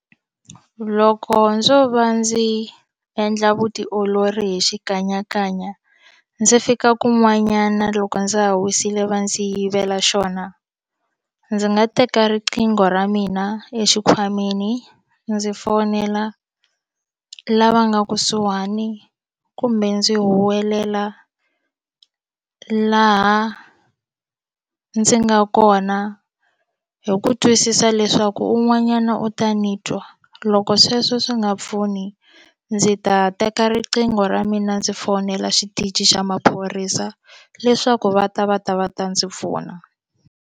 Loko ndzo va ndzi endla vutiolori hi xikanyakanya ndzi fika kun'wanyana loko ndza ha wisile va ndzi yivela xona ndzi nga teka riqingho ra mina exikhwameni ndzi fonela lava nga kusuhani kumbe ndzi huwelela laha ndzi nga kona hi ku twisisa leswaku un'wanyana u ta ni twa loko sweswo swi nga pfuni ndzi ta teka riqingho ra mina ndzi fonela xitichi xa maphorisa leswaku va ta va ta va ta ndzi pfuna.